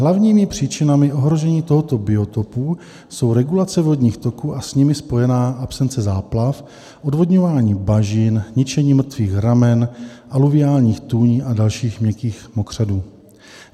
Hlavními příčinami ohrožení tohoto biotopu jsou regulace vodních toků a s nimi spojená absence záplav, odvodňování bažin, ničení mrtvých ramen, aluviálních tůní a dalších mělkých mokřadů.